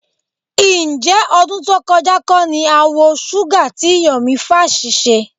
Ǹjẹ́ ọdún tó kọjá kọ́ ni a wa Shuga tí Yọ̀mí Fash ṣe?